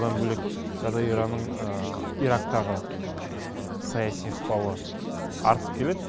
одан бөлек қазір иранның ирактағы саяси ықпалы артып келеді